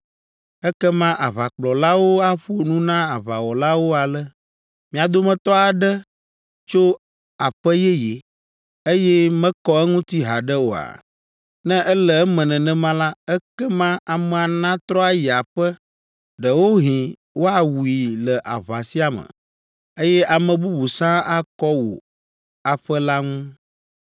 “Ekema aʋakplɔlawo aƒo nu na aʋawɔlawo ale: ‘Mia dometɔ aɖe tso aƒe yeye, eye mekɔ eŋuti haɖe oa? Ne ele eme nenema la, ekema amea natrɔ ayi aƒe! Ɖewohĩ woawui le aʋa sia me, eye ame bubu sãa akɔ wò aƒe la ŋu!